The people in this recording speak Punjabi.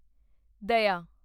ਦਇਆ